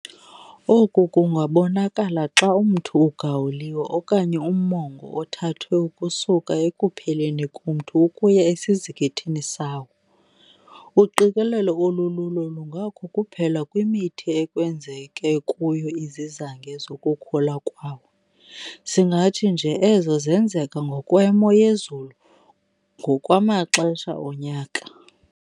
Oku kungabonakala xa umthi ugawuliwe okanye ummongo othathwe ukusuka ekupheleni komthi ukuya esizikithini sawo. Uqikelelo olululo lungakho kuphela kwimithi ekwenzeke kuyo izizange zokhulula kwawo, singathi nje ezo zenzeka ngokwemo yezulu ngokwamaxesha onyaka.